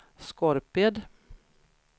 Skorped